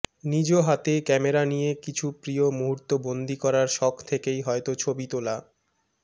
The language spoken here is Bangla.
নিজ হাতে ক্যামেরা নিয়ে কিছু প্রিয় মুহূর্ত বন্দী করার শখ থেকেই হয়তো ছবি তোলা